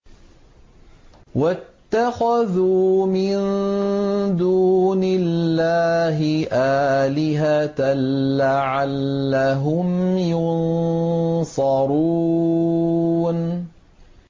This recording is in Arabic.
وَاتَّخَذُوا مِن دُونِ اللَّهِ آلِهَةً لَّعَلَّهُمْ يُنصَرُونَ